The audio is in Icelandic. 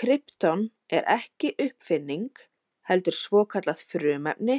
Krypton er ekki uppfinning heldur svokallað frumefni